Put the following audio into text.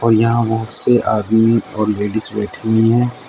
और यहां बहोत से आदमी और लेडीज बैठी हुई हैं।